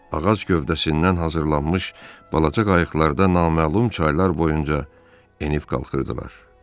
Ağac gövdəsindən hazırlanmış balaca qayıqlarda naməlum çaylar boyunca enib qalxırdılar.